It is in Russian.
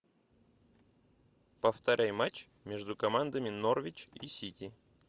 повторяй матч между командами норвич и сити